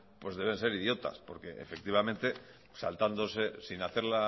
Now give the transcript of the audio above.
pues deben ser idiotas porque efectivamente saltándose sin hacer